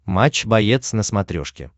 матч боец на смотрешке